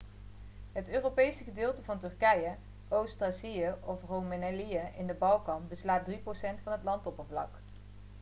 het europese gedeelte van turkije oost-thracië of roemelië in de balkan beslaat 3% van het landoppervlak